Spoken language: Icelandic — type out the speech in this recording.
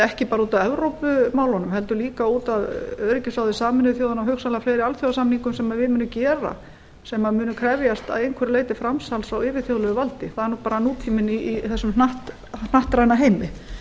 ekki bara út af evrópumálunum heldur út af öryggisráði sameinuðu þjóðanna og hugsanlega fleiri alþjóðasamningum sem við munum gefa sem munu krefjast að einhverju leyti framsals á yfirþjóðlegu valdi það er bara nútíminn í þessum hnattræna heimi